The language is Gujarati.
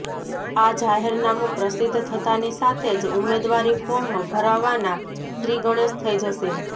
આ જાહેરનામું પ્રસિદ્વ થતાંની સાથે જ ઉમેદવારી ફોર્મ ભરવાના શ્રાીગણેશ થઇ જશે